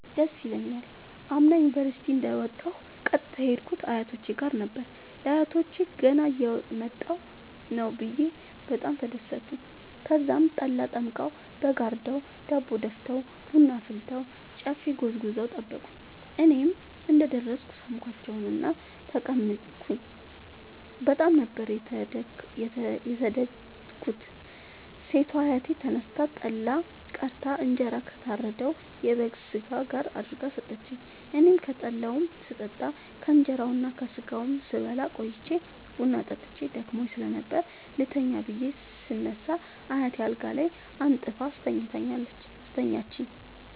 ደስ ይለኛል። አምና ዩኒቨርሢቲ እንደ ወጣሁ ቀጥታ የሄድኩት አያቶቼ ጋር ነበር። ለአያቶቸ ገና እየመጣሁ ነዉ ብየ በጣም ተደሠቱ። ተዛም ጠላ ጠምቀዉ በግ አርደዉ ዳቦ ደፍተዉ ቡና አፍልተዉ ጨፌ ጎዝጉዘዉ ጠበቁኝ። እኔም እንደ ደረስኩ ሣምኳቸዉእና ተቀመጥኩ በጣም ነበር የተደትኩት ሴቷ አያቴ ተነስታ ጠላ ቀድታ እንጀራ ከታረደዉ የበግ ስጋ ጋር አድርጋ ሠጠችኝ። አኔም ከጠላዉም ስጠጣ ከእንራዉና ከስጋዉም ስበላ ቆይቼ ቡና ጠጥቼ ደክሞኝ ስለነበር ልተኛ ብየ ስነሳ አያቴ አልጋ አንጥፋ አስተኛችኝ።